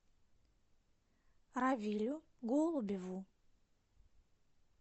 равилю голубеву